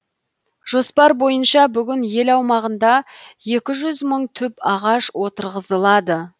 жоспар бойынша бүгін ел аумағында екі жүз мың түп ағаш отырғызылады